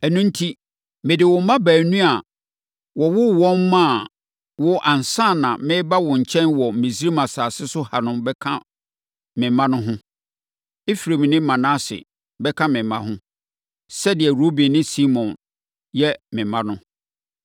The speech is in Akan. “Ɛno enti, mede wo mma baanu a wɔwoo wɔn maa wo ansa na mereba wo nkyɛn wɔ Misraim asase so ha no bɛka me mma no ho. Efraim ne Manase bɛka me mma ho, sɛdeɛ Ruben ne Simeon yɛ me mma no.